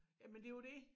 Jamen det jo det